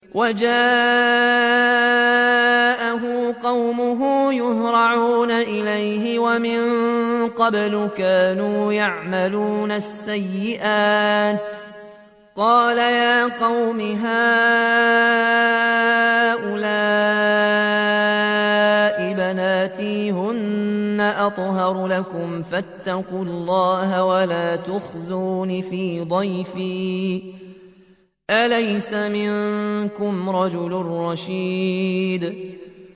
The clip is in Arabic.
وَجَاءَهُ قَوْمُهُ يُهْرَعُونَ إِلَيْهِ وَمِن قَبْلُ كَانُوا يَعْمَلُونَ السَّيِّئَاتِ ۚ قَالَ يَا قَوْمِ هَٰؤُلَاءِ بَنَاتِي هُنَّ أَطْهَرُ لَكُمْ ۖ فَاتَّقُوا اللَّهَ وَلَا تُخْزُونِ فِي ضَيْفِي ۖ أَلَيْسَ مِنكُمْ رَجُلٌ رَّشِيدٌ